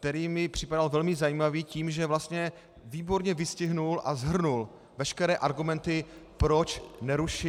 který mi připadal velmi zajímavý tím, že vlastně výborně vystihl a shrnul veškeré argumenty, proč nerušit -